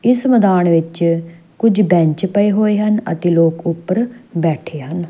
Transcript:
ਇਸ ਮੈਦਾਨ ਵਿੱਚ ਕੁਝ ਬੈਂਚ ਪਏ ਹੋਏ ਹਨ ਅਤੇ ਲੋਕ ਉੱਪਰ ਬੈਠੇ ਹਨ।